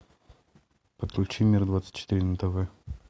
подключи мир двадцать четыре на тв